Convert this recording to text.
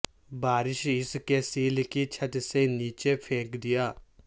بارش اس کے سیل کی چھت سے نیچے پھینک دیا